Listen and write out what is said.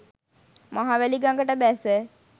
මහවැලි ගඟට බැස